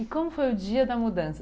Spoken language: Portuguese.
E como foi o dia da mudança?